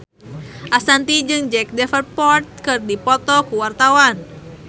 Ashanti jeung Jack Davenport keur dipoto ku wartawan